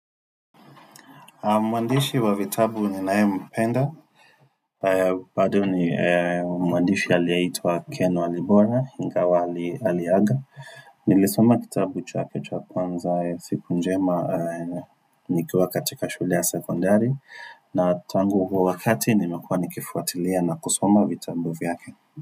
Mwandishi wa vitabu ninayempenda Mwandishi aliyeitwa Ken Walibona ingawa aliaga Nilisoma kitabu chake cha kwanza siku njema nikiwa katika shuli ya sekundari na tangu huo wakati nimekuwa nikifuatilia na kusoma vitabu vyake.